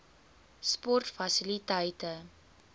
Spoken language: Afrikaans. sportfasiliteite